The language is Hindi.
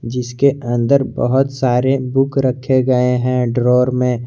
जिसके अंदर बहोत सारे बुक रखे गए हैं ड्रावर में।